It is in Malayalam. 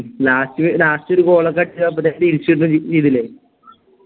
Last last ഒരു Goal ഒക്കെ അടിച്ച്